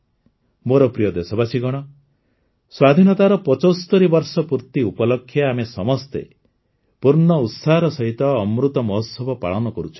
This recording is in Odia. ମୋର ପ୍ରିୟ ଦେଶବାସୀଗଣ ସ୍ୱାଧୀନତାର ୭୫ ବର୍ଷ ପୂର୍ତ୍ତି ଉପଲକ୍ଷେ ଆମେ ସମସ୍ତେ ପୂର୍ଣ୍ଣ ଉତ୍ସାହର ସହିତ ଅମୃତ ମହୋତ୍ସବ ପାଳନ କରୁଛନ୍ତି